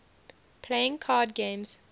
playing card games